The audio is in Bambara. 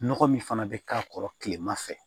Nɔgɔ min fana bɛ k'a kɔrɔ tilema fɛ